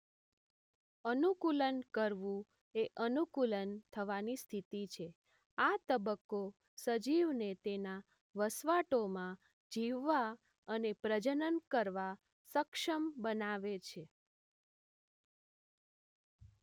અનુકૂલન કરવું એ અનુકૂલન થવાની સ્થિતિ છે આ તબક્કો સજીવને તેના વસવાટોમાં જીવવા અને પ્રજનન કરવા સક્ષમ બનાવે છે